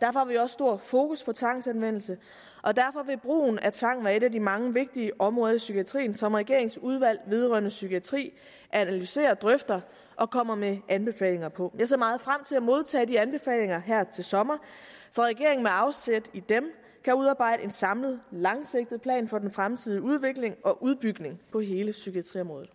derfor har vi også stor fokus på tvangsanvendelse og derfor vil brugen af tvang være et af de mange vigtige områder i psykiatrien som regeringens udvalg vedrørende psykiatri analyserer og drøfter og kommer med anbefalinger på jeg ser meget frem til at modtage de anbefalinger her til sommer så regeringen med afsæt i dem kan udarbejde en samlet langsigtet plan for den fremtidige udvikling og udbygning på hele psykiatriområdet